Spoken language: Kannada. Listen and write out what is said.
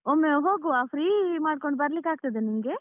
ಒಮ್ಮೆ ಹೋಗುವ free ಮಾಡ್ಕೊಂಡು ಬರ್ಲಿಕ್ಕೆ ಆಗ್ತದ ನಿಂಗೆ?